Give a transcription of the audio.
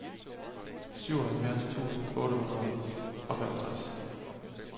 syvoghalvfjerds tusind otte hundrede og femogtres